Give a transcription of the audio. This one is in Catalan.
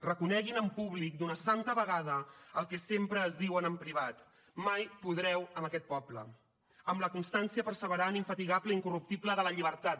reconeguin en públic d’una santa vegada el que sempre es diuen en privat mai podreu amb aquest poble amb la constància perseverant infatigable i incorruptible de la llibertat